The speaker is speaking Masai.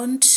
te east Africa.